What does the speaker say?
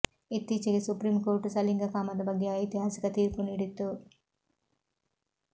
ಇತ್ತೀಚಿಗೆ supreme court ಸಲಿಂಗ ಕಾಮದ ಬಗ್ಗೆ ಐತಿಹಾಸಿಕ ತೀರ್ಪು ನೀಡಿತ್ತು